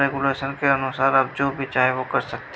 Regulation के अनुसार आप जो भी चाहे वो कर सकते हैं।